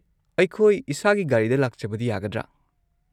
ꯑꯩꯈꯣꯏ ꯏꯁꯥꯒꯤ ꯒꯥꯔꯤꯗ ꯂꯥꯛꯆꯕꯗꯤ ꯌꯥꯒꯗ꯭ꯔꯥ?